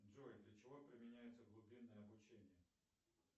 джой для чего применяется глубинное обучение